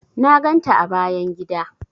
Na ganta a bayan gida.